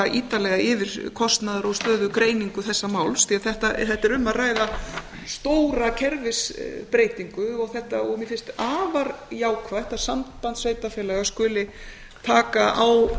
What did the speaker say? ítarlega yfir kostnaðar og stöðugreiningu þessa máls því að þetta er um að ræða stóra kerfisbreytingu og mér finnst afar jákvætt að samband sveitarfélaga skuli taka á